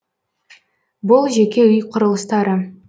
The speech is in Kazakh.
бұл жеке үй құрылыстары